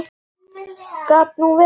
Gat nú verið!